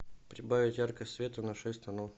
прибавить яркость света на шесть тонов